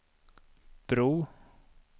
bro